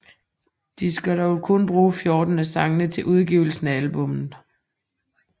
De skal dog kun bruge 14 af sangene til udgivelsen af albummet